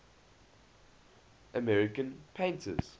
american painters